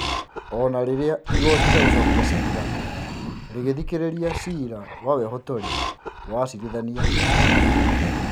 O na rĩrĩa igoti rĩa gũcokia ciira rĩgĩthikĩrĩria cira wa wehotori wa acirithania atano,